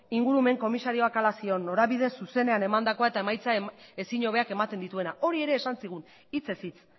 ingurumen komisarioak hala zioen norabide zuzenean emandakoa eta emaitza ezin hobeak ematen dituena hori ere esan zigun hitzez hitz